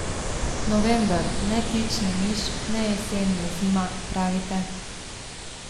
November, ne tič ne miš, ne jesen ne zima, pravite?